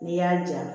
N'i y'a ja